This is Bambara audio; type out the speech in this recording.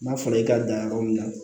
N'a fɔra i ka dan yɔrɔ min na